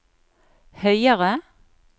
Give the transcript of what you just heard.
høyere